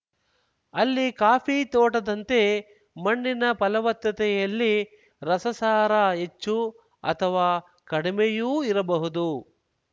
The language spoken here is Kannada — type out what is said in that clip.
ಅಲ್ಲಿ ಕಾಫಿ ತೋಟದಂತೆ ಮಣ್ಣಿನ ಫಲವತ್ತತೆಯಲ್ಲಿ ರಸಸಾರ ಹೆಚ್ಚು ಅಥವಾ ಕಡಿಮೆಯೂ ಇರಬಹುದು